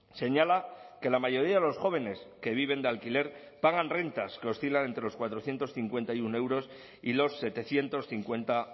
señala que la mayoría de los jóvenes que viven de alquiler pagan rentas que oscilan entre los cuatrocientos cincuenta y uno euros y los setecientos cincuenta